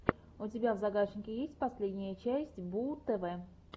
у тебя в загашнике есть последняя часть бууу тв